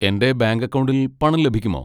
എന്റെ ബാങ്ക് അക്കൗണ്ടിൽ പണം ലഭിക്കുമോ?